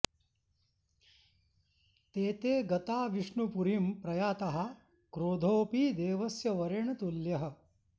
ते ते गता विष्णुपुरीं प्रयाताः क्रोधोऽपि देवस्य वरेण तुल्यः